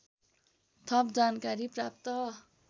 थप जानकारी प्राप्त